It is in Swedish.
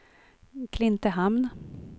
Klintehamn